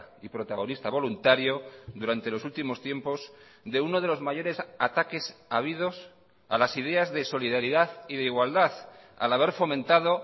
y protagonista voluntario durante los últimos tiempos de uno de los mayores ataques habidos a las ideas de solidaridad y de igualdad al haber fomentado